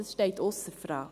Das steht ausser Frage.